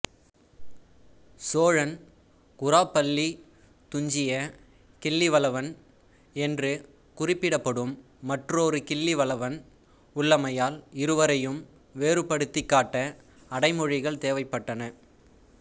சோழன் குராப்பள்ளித் துஞ்சிய கிள்ளிவளவன் என்று குறிப்பிடப்படும் மற்றொரு கிள்ளிவளவன் உள்ளமையால் இருவரையும் வேறுபடுத்திக் காட்ட அடைமொழிகள் தேவைப்பட்டன